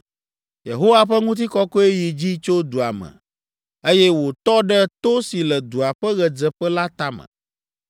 Yehowa ƒe ŋutikɔkɔe yi dzi tso dua me, eye wòtɔ ɖe to si le dua ƒe ɣedzeƒe la tame.